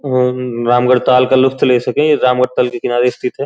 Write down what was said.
और रामगढ़ताल का लुत्फ़ ले सकें ये रामगढ़ताल के किनारे स्थित है।